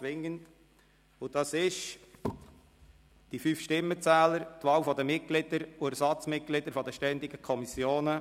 Es betrifft die Wahl der fünf Stimmenzähler sowie die Wahl der Mitglieder und Ersatzmitglieder der ständigen Kommissionen.